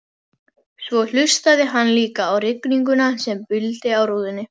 Svo hlustaði hann líka á rigninguna sem buldi á rúðunni.